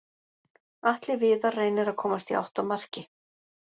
Atli Viðar reynir að komast í átt að marki.